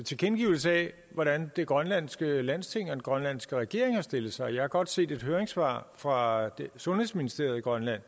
tilkendegivelse af hvordan det grønlandske landsting og den grønlandske regering har stillet sig jeg har godt set et høringssvar fra sundhedsministeriet i grønland